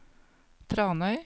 Tranøy